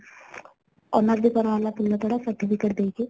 honor ବି କରା ହେଲା ଫୁଲତୋଡ଼ା , certificate ଦେଇକି